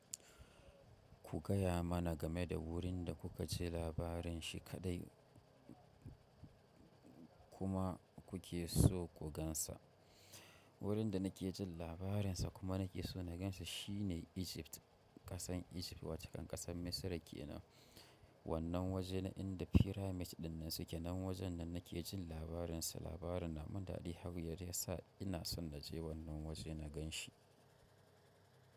Ku gaya mana game da wurin da kuka ji labarin shi kaɗai kuma kuke so ku gansa. Wurin da nake jin labarin sa kuma nake so na ganshi shine Egypt, ƙasar Egypt wato ƙasar Misra kenan. Wannan waje na inda pyramid ɗin nan suke nan wajen nan nake jin labarin sa. Labarin na mun daɗi har yadda ya sa ina so na je wannan waje na gan shi.